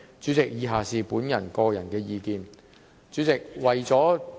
主席，以下是我的個人意見，為了......